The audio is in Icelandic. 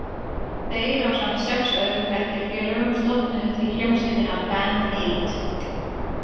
Þeir ásamt sex öðrum bekkjarfélögum stofnuðu því hljómsveitina „Band eight“.